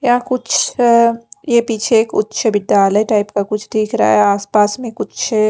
यहां कुछ ये पीछे एक उच्च विद्यालय टाइप का कुछ दिख रहा है आसपास में कुछ--